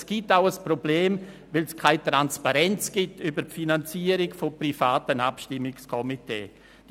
Es gibt auch ein Problem, weil keine Transparenz betreffend die Finanzierung privater Abstimmungskomitees herrscht.